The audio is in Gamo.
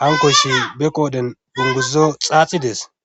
hankoyssi be qoodhen unguzo xaaxidees